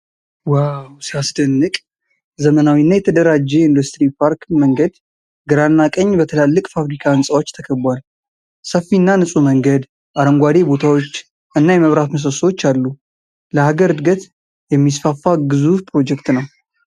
ዋው ሲያስደንቅ! ዘመናዊና የተደራጀ የኢንዱስትሪ ፓርክ መንገድ ግራና ቀኝ በትላልቅ ፋብሪካ ህንፃዎች ተከቧል። ሰፊና ንፁህ መንገድ፣ አረንጓዴ ቦታዎች፣ እና የመብራት ምሰሶዎች አሉ። ለሀገር እድገት የሚስፋፋ ግዙፍ ፕሮጀክት ነው!